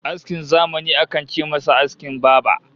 Askin zamani akan ce mishi askin baba